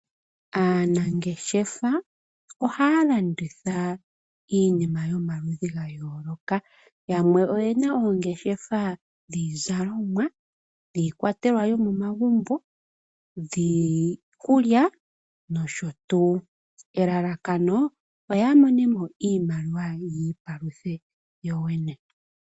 Aanangeshefa ohaya landitha iinima yoma ludhi ga yooloka yamwe oyena oongeshefa dhiizalomwa, dhiikwatelwa yomo magumbo, dhiikulya nosho tuu. Elalakano oya mone mo iimaliwa yi ipaluthe yoyene.